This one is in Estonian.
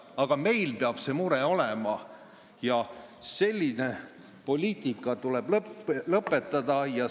Aga meil peab see mure olema ja selline poliitika tuleb lõpetada!